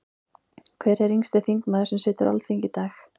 Hver er yngsti þingmaður sem situr á Alþingi í dag?